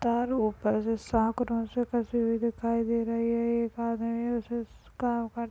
तारो पर साकरो से फसी हुई दिखाई दे रही हे एक आदमी काम--